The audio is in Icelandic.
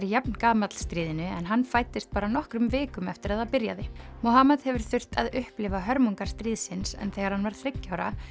jafngamall stríðinu en hann fæddist bara nokkrum vikum eftir að það byrjaði hefur þurft að upplifa hörmungar stríðsins en þegar hann var þriggja ára